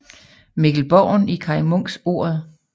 Mikkel Borgen i Kaj Munks Ordet